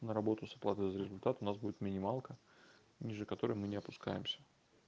на работу с оплатой за результат у нас будет минималка ниже которой мы не опускаемся